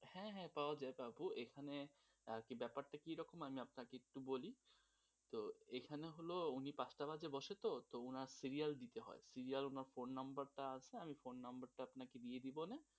হুম, হুম পাওয়া যাবে আপু মানে, এখানে ব্যাপারটা কিরকম হয়, আমি আপনাকে একটু বলি, তো এখানে হল উনি পাঁচটা বাজলে বসে তো তো উনার serial দিতে হয়, serial বা phone number টা আমি phone number আপনাকে দিয়ে দিব না